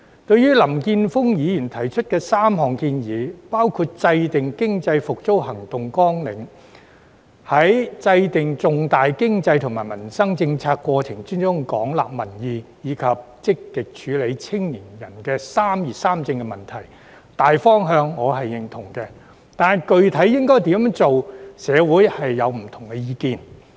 對於林健鋒議員提出的3項建議，包括制訂經濟復蘇行動綱領、在制訂重大經濟及民生政策過程中廣納民意，以及積極處理青年人的"三業三政"問題，大方向我是認同的，但具體應怎樣做，社會上有不同意見。